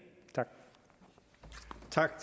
tak